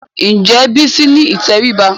Ǹjẹ́ Bísí ní ìtẹríba?